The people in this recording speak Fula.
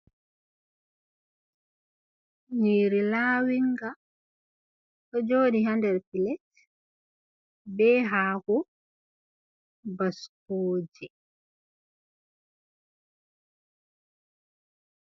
Nyiiri laawinga, ɗo jooɗi haa nder pilet, be haako, baskooje.